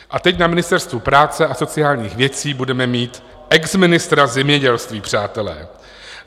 A teď na Ministerstvu práce a sociálních věcí budeme mít exministra zemědělství, přátelé.